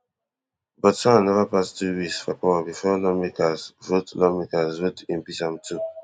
but han neva pass two weeks for power before lawmakers vote lawmakers vote impeach am tu